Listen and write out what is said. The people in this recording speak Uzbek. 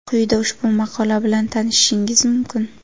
Quyida ushbu maqola bilan tanishishingiz mumkin.